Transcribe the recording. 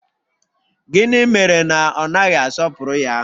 Gịnị mere na ọ naghị asọpụrụ ya?